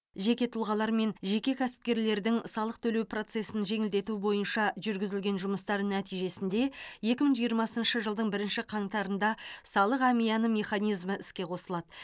жеке тұлғалар мен жеке кәсіпкерлердің салық төлеу процесін жеңілдету бойынша жүргізілген жұмыстар нәтижесінде екі мың жиырмасыншы жылдың бірінші қаңтарында салық әмияны механизмы іске қосылады